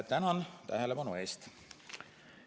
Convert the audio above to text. Tänan tähelepanu eest!